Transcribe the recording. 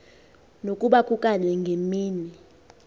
nokuba kukanye ngemini